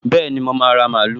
Bẹ́ẹ̀ni, mo máa ra mààúlù